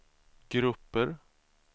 grupper